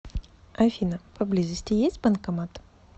афина по близости есть банкомат